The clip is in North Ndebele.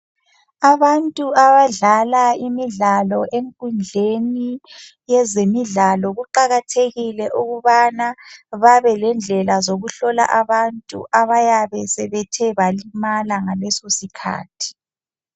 Abantu abadlala imidlalo enkundleni yezemidlalo ,kuqakathekile ukubana babelendlela zokuhlola abantu abayabe sebethe balimala ngaleso sikhathi.